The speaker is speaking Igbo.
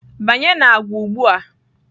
Banye na agwa ugbu a!